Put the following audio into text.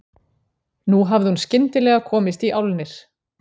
Nú hafði hún skyndilega komist í álnir.